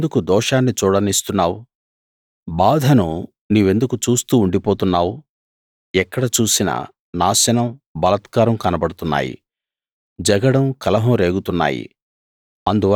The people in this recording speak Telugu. నన్నెందుకు దోషాన్ని చూడనిస్తున్నావు బాధను నీవెందుకు చూస్తూ ఉండిపోతున్నావు ఎక్కడ చూసినా నాశనం బలాత్కారం కనబడుతున్నాయి జగడం కలహం రేగుతున్నాయి